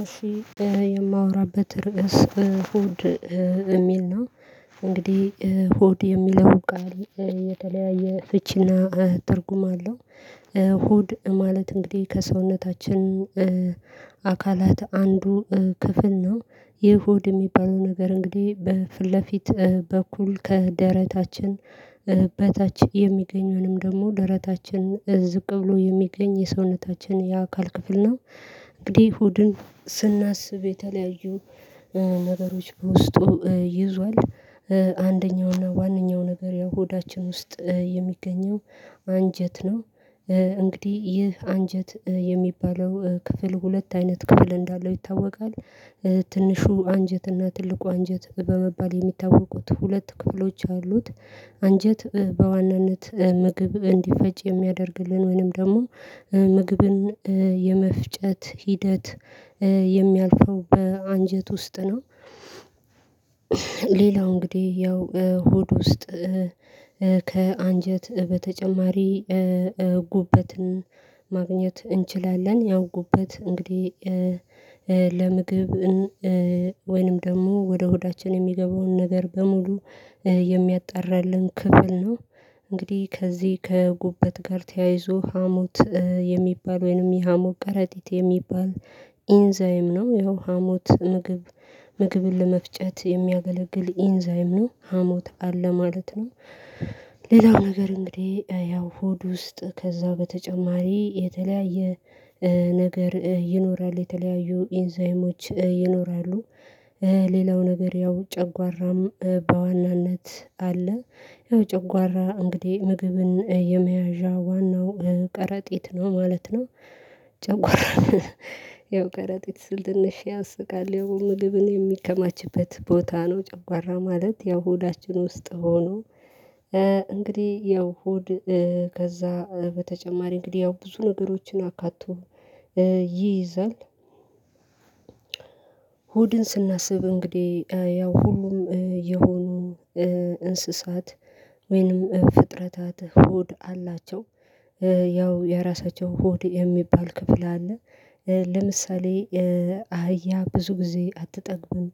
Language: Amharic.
እሺ የማወራበት ርዕስ እሁድ እሚል ነው። እንግዲህ እሁድ የሚለው ቃል የተለያየ ፍቺና ትርጉም አለው። እሁድ ማለት እንግዲህ ከሰውነታችን አካላት አንዱ ክፍል ነው ይህ ሆድ የሚባለው ነገር እንግዲህ በፊት ለፊት በኩል ከደረታችን በታች የሚገኘውንም ደሞ ደረታችን ዝቅ ብሎ የሚገኝ የሰውነታችን የአካል ክፍል ነው። እንግዲህ ሆድን ስናስብ የተለያዩ ነገሮች በውስጡ ይዟል አንደኛው እና ዋናኛው ነገር ሆዳችን ውስጥ የሚገኘው አንጀት ነው። እንግዲህ ይህ አንጀት የሚባለው ክፍል ሁለት አይነት ክፍል እንዳለው ይታወቃል። ትንሹ አንጀት እና ትልቁ አንጀት በመባል የሚታወቁት ሁለት ክፍሎች አሉት። አንጀት በዋናነት ምግብ እንዲፈጭ የሚያደርግልን ወይንም ደሞ ምግብን የመፍጨት ሂደት የሚያልፈው በአንጀት ውስጥ ነው። ሌላው እንግዲህ ያው ሆድ ውስጥ ከአንጀት በተጨማሪ ጉበትን ማግኘት እንችላለን። ያው ጉበት እንግዲህ ለምግብ ወይንም ደሞ ወደ ሆዳችን የሚገባውን ነገር በሙሉ የሚያጣራልን ክፍል ነው። እንግዲህ ከዚህ ከጉበት ጋር ተያይዞ ሀሞት የሚባል ወይንም የሀሞት ቀረጢት የሚባል ኢንዛይም ነው ይሄው ሀሞት ምግብ ምግብን ለመፍጨት የሚያገለግል ኢንዛይም ነው ሀሞት አለ ማለት ነው። ሌላው ነገር እንግዲህ ያው ሆድ ውስጥ ከዛ በተጨማሪ የተለያየ ነገር ይኖራል የተለያዩ ኢንዛይሞች ይኖራሉ። ሌላው ነገር ያው ጨጓራም በዋናነት አለ ያው ጨጓራ እንግዲህ ምግብን የመያዣ ዋናው ቀረጢት ነው ማለት ነው። ጨጓራ ያው ከረጢት ስል ትንሽ ያስቃል ያው ምግብን የሚከማችበት ቦታ ነው ጨጓራ ማለት ያው ሆዳችን ውስጥ ሆኖ እንግዲህ ያው ሆድ ከዛ በተጨማሪ እንግዲህ ያው ብዙ ነገሮችን አካቶ ይይዛል። ሆድን ስናስብ እንግዲህ ያው ሁሉም የሆኑ እንስሳት ወይንም ፍጥረታት ሆድ አላቸው ያው የራሳቸው ሆድ የሚባል ክፍል አለ። ለምሳሌ አህያ ብዙ ጊዜ አትጠግብም